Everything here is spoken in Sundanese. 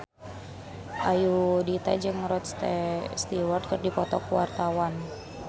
Ayudhita jeung Rod Stewart keur dipoto ku wartawan